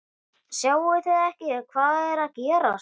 Sjáið þið ekki hvað er að gerast!